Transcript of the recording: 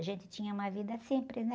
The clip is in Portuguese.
A gente tinha uma vida simples, né?